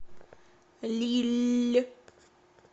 лилль